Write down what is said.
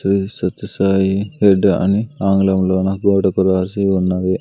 Shri Sathya Sai head అని ఆంగ్లంలోన గోడకు రాసి ఉన్నది.